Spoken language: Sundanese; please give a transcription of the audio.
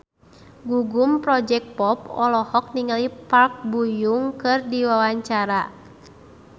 Gugum Project Pop olohok ningali Park Bo Yung keur diwawancara